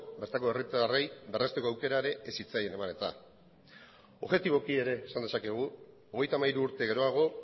bertako herritarrei berrezteko aukera ere ez zitzaien eman eta objetiboki ere esan dezakegu hogeita hamairu urte geroago